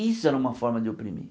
Isso era uma forma de oprimir.